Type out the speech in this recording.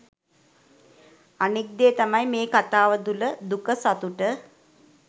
අනික් දේ තමයි මේ කතාව තුල දුක සතුට